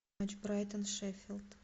матч брайтон шеффилд